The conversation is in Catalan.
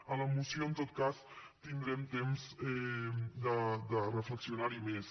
a la moció en tot cas tindrem temps de reflexionar hi més